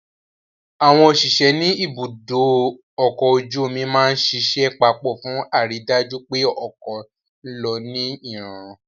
Àwọn òṣìṣẹ́ ní ibùdó ọkọ̀ ojú omi máa ń ṣiṣẹ́ papọ̀ fún àrídájú pé ọkọ̀ ń lọ ní ìrọ̀rùn